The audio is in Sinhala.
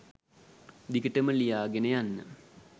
දිගටම ලියාගෙන යන්න.